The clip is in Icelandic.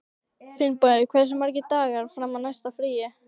Finnborg, hversu margir dagar fram að næsta fríi?